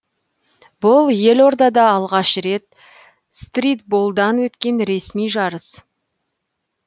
бұл елордада алғаш рет стритболдан өткен ресми жарыс